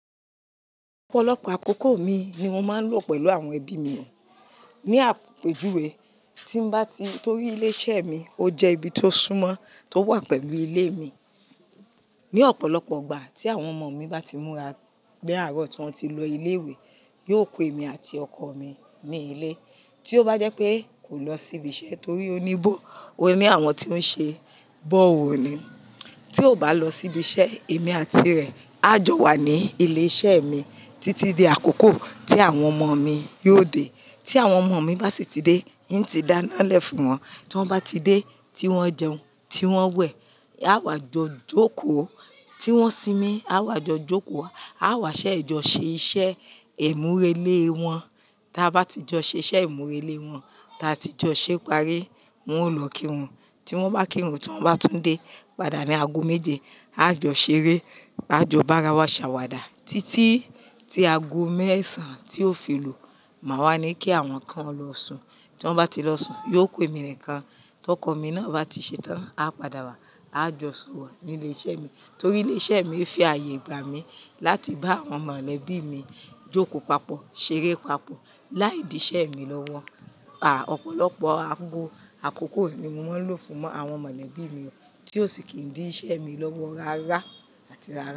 Ọ̀pọ̀lọpọ̀ àkókò mi ni mo máa ń lò pẹ̀lú àwọn ẹbí mi, ní àpéjúwe tí n bá ti torí ilé iṣẹ́ mi, ó jẹ́ ibi tó súnmọ́ tó wà pẹ̀lú ilé mi. Ni ọ̀pọ̀lọpọ̀ igbà tí àwọn ọmọ mi bá ti múra ni àárọ̀ tí wọ́n ti lọ ilé ìwé, yó ku émi àti ọkọ mi ní ilé. Tí ó bá jẹ́ pé kò lọ sí ibi iṣẹ́ torí oní bọ̀, ó ní àwọn tí ó ń ṣe borehole ni. Tí ò bá lọ sí ibi iṣẹ́, èmi àti rẹ̀ á jọ wà ní ilé iṣẹ́ mi títí di àkókò tí àwọn ọmọ mi yóò dé. Tí àwọn ọmọ mi bá ti dé, ń ti dáná lẹ̀ fún wọn. Tí wọ́n bá ti dé, tí wọ́n jẹun, tí wọ́n wẹ̀, á wá jọ jókòó. Tí wọ́n sinmi, á wá jọ jókòó wa. A á wá ṣẹ e jọ̀ ṣe iṣẹ́ ìmúre lé wọn. Báti jọ ṣé iṣẹ́ ìmúre lé wọn, táa ti jọ ṣépari, wọn ó lọ kírun. Tí wọ́n bá kírun, tí wọ́n bá tún dé padà ní ago méje, á jọ ṣeré, á jọ bá ara wa ṣàwàdà títí tí ago mẹ́sàn tí ó fi lu máa wá ní kí àwọn kan lọ sùn. Tí wọ́n bá ti lọ sùn, yóò ku emi nìkan. Tí ọkọ mi náà bá ti ṣetán, a padà wá, á jọ sorọ̀ ní ilé iṣẹ́ mi. Torí ilé iṣẹ́ mi fi ààyè gbà mi láti bá àwọn mọ̀lẹ́bí mi jókòó papọ̀, ṣeré papọ̀, láìdí iṣẹ́ mi lọ́wọ́. Àà, ọ̀pọ̀lọpọ̀ ago àkókò mi ni mo máa ń lò fún àwọn mọ̀lẹ́bí mi tí ó sì kì í dí iṣẹ́ mi lọ́wọ́ rárá àti rárá.